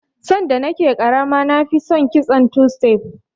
Sanda na ke ƙarama na fi son kitson two stef